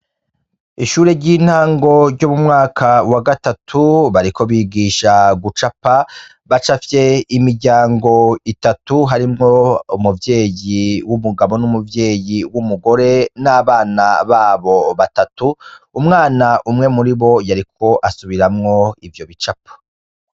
Ishure ry'intango ry'umumwaka wa gatatu bariko bigisha gucapa bacafye imiryango itatu harimwo umuvyeyi w'umugabo n'umuvyeyi w'umugore n'abana babo batatu umwana umwe muri bo yariko asubiramwo ivyo bicapa.